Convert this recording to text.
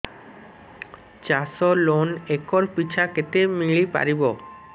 ଚାଷ loan acre ପିଛା କେତେ ମିଳି ପାରିବ